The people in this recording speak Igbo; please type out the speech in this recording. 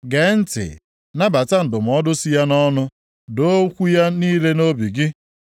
Gee ntị, nabata ndụmọdụ si ya nʼọnụ, doo okwu ya niile nʼobi gị.